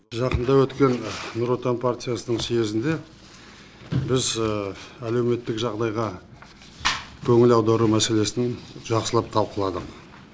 жақында өткен нұр отан партиясының съезінде біз әлеуметтік жағдайға көңіл аудару мәселесін жақсылап талқыладық